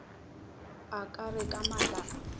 ka re ka matla a